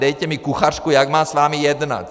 Dejte mi kuchařku, jak mám s vámi jednat.